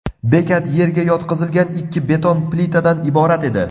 Bekat yerga yotqizilgan ikki beton plitadan iborat edi.